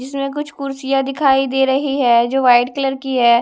इसमें कुछ कुर्सियां दिखाई दे रहीं हैं जो व्हाइट कलर की हैं।